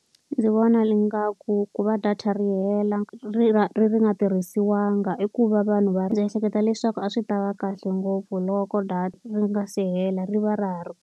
Ndzi vona ingaku ku va data ri hela ri ra ri nga tirhisiwangi i ku va vanhu va. Ndzi ehleketa leswaku a swi ta va kahle ngopfu loko data ri nga se hela ri va ra ha ri.